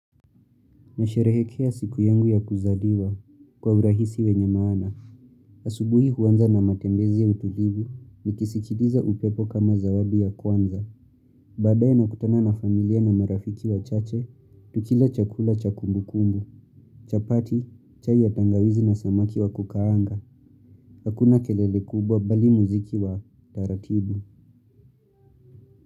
Nasherehekea siku yangu ya kuzaliwa kwa urahisi wenye maana. Asubuhi huanza na matembezi ya utulivu nikisikiliza upepo kama zawadi ya kwanza. Baadaye na kutana na familia na marafiki wa chache, tukila chakula cha kumbu kumbu, chapati, chai ya tangawizi na samaki wa kukaanga, hakuna kelele kubwa bali muziki wa taratibu.